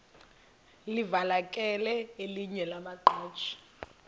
livakele elinye lamaqhaji